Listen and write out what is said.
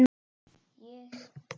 Ég?